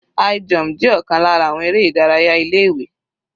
High jump jẹ́ ọ̀kan lára àwọn eré ìdárayá ilé ìwé.